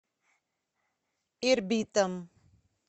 ирбитом